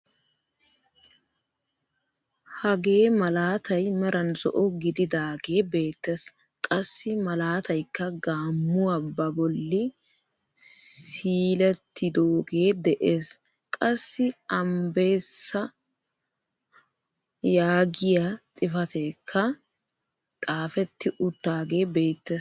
Hagee malaatay meran zo"o gididaagee beettees. Qassi malaataykka gaammuwaa ba bolli siilettidoogee de'ees. qassi ambbeesaa yaagiyaa xifateekka xaafetti uttaagee beettees.